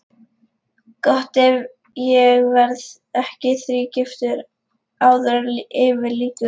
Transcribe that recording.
Gott ef ég verð ekki þrígiftur áður en yfir lýkur.